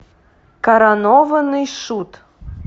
коронованный шут